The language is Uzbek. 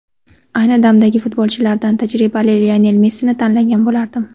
Ayni damdagi futbolchilardan tajribali Lionel Messini tanlagan bo‘lardim.